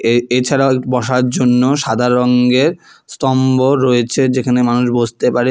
এ এছাড়াও একটি বসার জন্য সাদা রঙ্গের স্তম্ভ রয়েছে যেখানে মানুষ বসতে পারে।